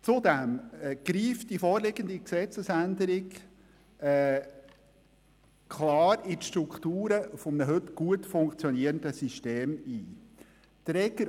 Zudem greift die vorliegende Gesetzesänderung klar in die Strukturen des heute gut funktionierenden Systems ein.